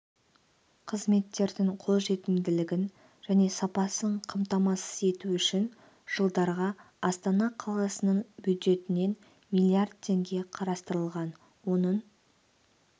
қызметтердің қолжетімділігін және сапасын қамтамасыз ету үшін жылдарға астана қаласының бюджетінен млрд теңге қарастырылған оның